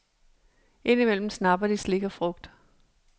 Indimellem snapper de slik og frugt.